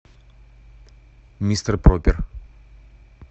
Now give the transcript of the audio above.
мистер пропер